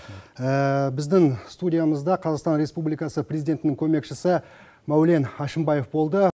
біздің студиямызда қазақстан республикасы президентінің көмекшісі мәулен әшімбаев болды